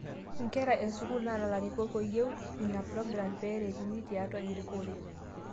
Nkera e sukuul nara larikok eyieu inaprogram peereteni tiatua erikore